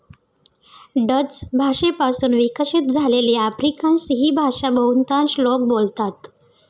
Dutch भाषेपासून विकसित झालेली आफ्रिकान्स ही भाषा बहुतांश लोक बोलतात.